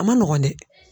A ma nɔgɔn dɛ